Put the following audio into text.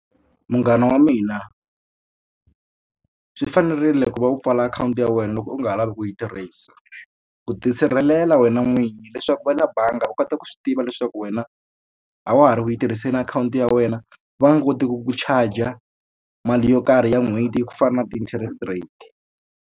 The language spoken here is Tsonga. Munghana wa mina swi fanerile ku va u pfala akhawunti ya wena loko u nga ha lavi ku yi tirhisa ku tisirhelela wena n'winyi leswaku va le bangi u kota ku swi tiva leswaku wena a wa ha ri ku yi tirhiseni akhawunti ya wena va nga koti ku ku charger mali yo karhi ya n'hweti ya ku fana na ti-interest rate.